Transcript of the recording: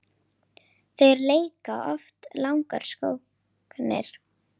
Þeir leika oft langar sóknir.